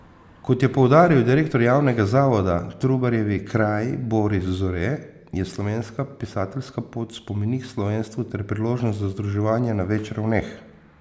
Kot je poudaril direktor Javnega zavoda Trubarjevi kraji Boris Zore, je Slovenska pisateljska pot spomenik slovenstvu ter priložnost za združevanje na več ravneh.